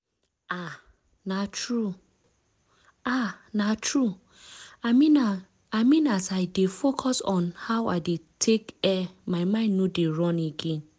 ah na true! ah na true! i mean as i dey focus on how i dey tek air my mind no dey run again.